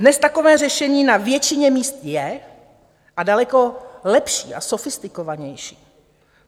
Dnes takové řešení na většině míst je a daleko lepší a sofistikovanější.